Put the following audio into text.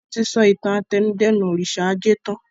Wọn tí sọ ìtàn àtẹnudẹ́nu òrìṣà ajé tan